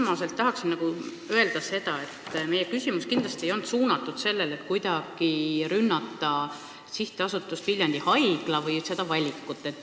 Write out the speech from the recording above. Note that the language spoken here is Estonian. Kõigepealt tahan öelda seda, et meie küsimus kindlasti ei olnud esitatud sooviga kuidagi rünnata Sihtasutust Viljandi Haigla või langetatud valikut.